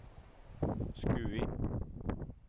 Skui